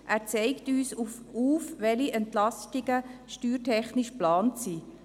Er zeigt uns auf, welche Entlastungen steuertechnisch geplant sind.